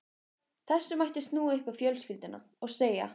Þessu mætti snúa upp á fjölskylduna og segja